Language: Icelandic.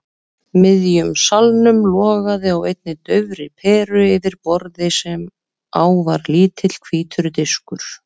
miðjum salnum logaði á einni daufri peru yfir borði sem á var lítill hvítur diskur.